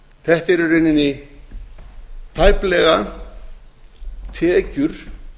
þetta eru í rauninni tæplega tekjur